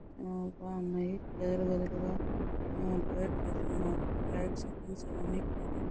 హ్మ్మ్ బాగుంది. వేరువేరుగా డివైడ్ చేసినట్టు లైట్ సెట్టింగ్స్ అవన్నీ కూడా --